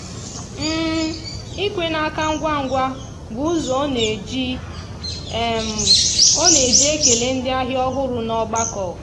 ikwe n'aka ngwa ngwa bụ ụzọ ọ na-eji ọ na-eji ekele ndị ahịa ọhụrụ n'ọgbakọ.